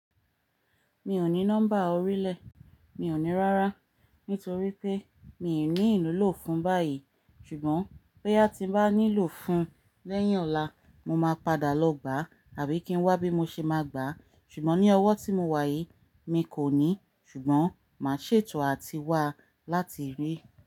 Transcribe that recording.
Mi ò ní nọ́mbà orílẹ̀, mi ò ní rárá nítorí pé mi ò ní ìlòwu fún báyìí ṣùgbọ́n bóyá tí n bá nílò fún lẹ́yìn ọ̀la, mo máa padà lọ gbà àbí kí n wá bí mo ṣe máa gbà ṣùgbọ́n ní ọwọ́ tí mo wà yìí mi kò ní ṣùgbọ́n màá ṣètò àti wá láti rí.